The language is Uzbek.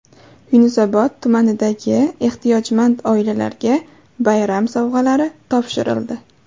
Yunusobod tumanidagi ehtiyojmand oilalarga bayram sovg‘alari topshirildi.